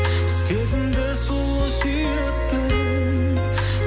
сезімді сұлу сүйіппін